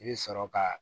I bɛ sɔrɔ ka